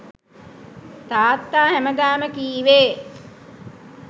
තාත්තා හැමදාම කීවේ